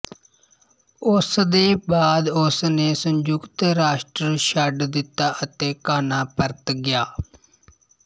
ਉਸਦੇ ਬਾਅਦ ਉਸ ਨੇ ਸੰਯੁਕਤ ਰਾਸ਼ਟਰ ਛੱਡ ਦਿੱਤਾ ਅਤੇ ਘਾਨਾ ਪਰਤ ਗਿਆ